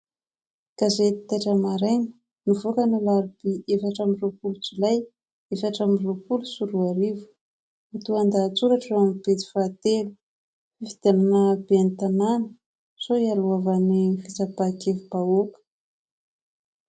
Gazety " Taitra Maraina " nivoaka ny alarobia, efatra amby roapolo jolay, efatra amby roapolo sy roa arivo no lohatenin-dahatsoratra eo amin'ny pejy fahatelo " Fifidianana ho ben'ny tanàna sao hialohavan'ny fitsapan-kevi-bahoaka."